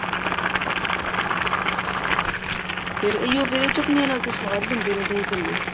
ਇਹੀ ਹੋ ਫ਼ੇਰ ਇਹ ਚਟਨੀਆਂ ਨਾਲ ਤਾਂ ਸਵਾਦ ਬਣਦੇ ਨੇ ਦਹੀਂ ਭੱਲੇ